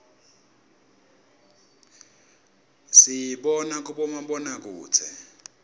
siyibona kubomabonakudze